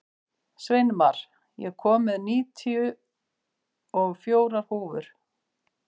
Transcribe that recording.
Sveinmar, ég kom með níutíu og fjórar húfur!